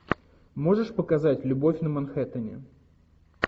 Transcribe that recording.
можешь показать любовь на манхэттене